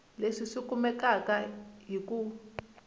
leswi swi kumeka hi ku